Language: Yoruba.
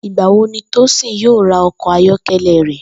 Ìgbà wo ni Tósìn yóò ra o̩kò̩ ayó̩ké̩lé̩ rè̩?